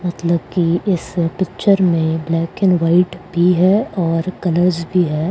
मतलब कि इस पिक्चर में ब्लैक एंड व्हाइट भी है और कलर्स भी है।